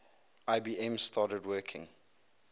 ibm started working